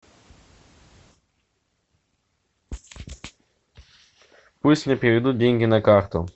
пусть мне переведут деньги на карту